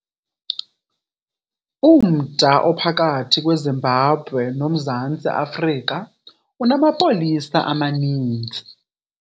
Umda ophakathi kweZimbabwe noMzantsi Afrika unamapolisa amaninzi.